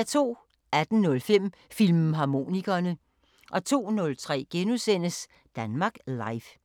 18:05: Filmharmonikerne 02:03: Danmark Live *